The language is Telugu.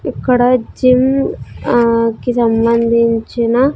ఇక్కడ జిమ్ అహ్ కి సంబంధించిన.